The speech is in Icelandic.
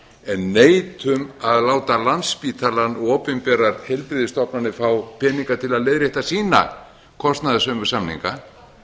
en neitum að láta landspítalann og opinberar heilbrigðisstofnanir fá peninga til að leiðrétta sína kostnaðarsömu samninga